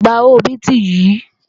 Gba owó bíìtì yìí!